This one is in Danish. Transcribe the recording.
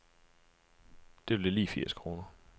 Det blev lige firs kroner.